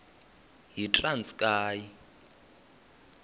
yitranskayi